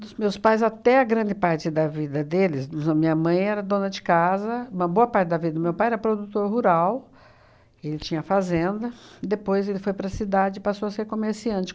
Dos meus pais, até a grande parte da vida deles, dos an minha mãe era dona de casa, uma boa parte da vida do meu pai era produtor rural, ele tinha fazenda, depois ele foi para a cidade e passou a ser comerciante.